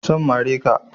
Zan mare ka